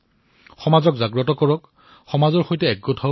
সমাজক সজাগ কৰক সমাজক একত্ৰিত কৰক সমাজৰ সৈতে জড়িত হওক